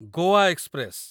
Goa express